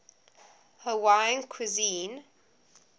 hawaiian cuisine